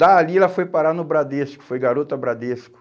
Dali ela foi parar no Bradesco, foi garota Bradesco.